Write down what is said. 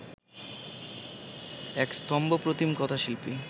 এক স্তম্ভপ্রতিম কথাশিল্পী